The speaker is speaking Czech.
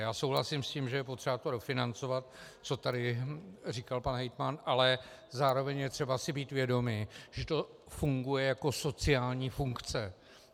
Já souhlasím s tím, že je třeba to dofinancovat, co tady říkal pan hejtman, ale zároveň je třeba si být vědomi, že to funguje jako sociální funkce.